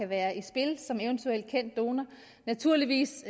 være i spil som eventuel kendt donor naturligvis